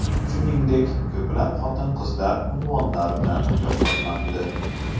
Shuningdek, ko‘plab xotin-qizlar unvonlar bilan mukofotlandi .